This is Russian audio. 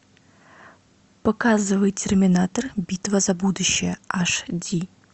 показывай терминатор битва за будущее аш ди